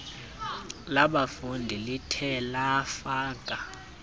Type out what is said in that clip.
labafundi lithe lafaka